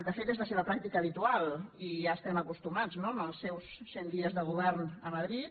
de fet és la seva pràctica habitual i ja hi estem acostumats no en els seus cent dies de govern a madrid